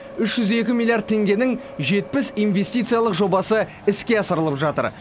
үш жүз екі миллиард теңгенің жетпіс инвестициялық жобасы іске асырылып жатыр